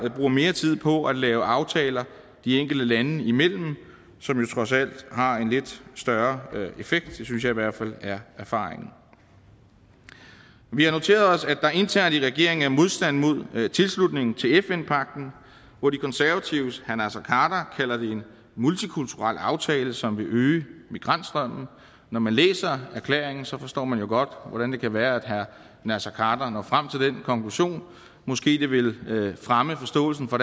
bruge mere tid på at lave aftaler de enkelte lande imellem som jo trods alt har en lidt større effekt det synes jeg i hvert fald er erfaringen vi har noteret os at der internt i regeringen er modstand mod tilslutning til fn pagten hvor de konservatives herre naser khader kalder det en multikulturel aftale som vil øge migrantstrømmen når man læser erklæringen så forstår man jo godt hvordan det kan være at herre naser khader når frem til den konklusion og måske ville det fremme forståelsen for